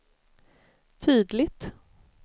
tydligt